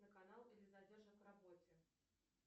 на канал или задержат в работе